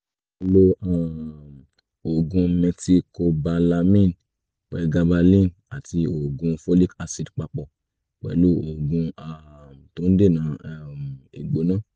máa lo um oògùn methylcobalamin pregabalin àti oògùn folic acid papọ̀ pẹ̀lú oògùn um tó ń dènà um ìgbóná